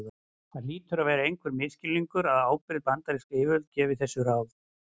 það hlýtur að vera einhver misskilningur að ábyrg bandarísk yfirvöld gefi þessi ráð